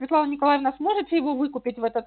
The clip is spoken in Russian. светлана николаевна сможете его выкупить в этот